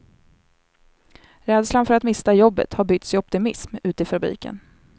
Rädslan för att mista jobbet har bytts i optimism ute i fabriken.